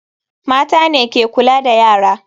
Mata ne ke kula da yara.